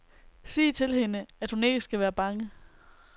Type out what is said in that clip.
Sig til hende, at hun ikke skal være bange.